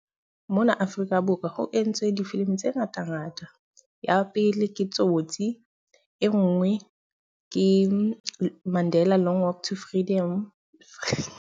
Mona Afrika Borwa ho entswe difilimi tse ngatangata. Ya pele ke Tsotsi, e nngwe ke Mandela Long Walk to Freedom.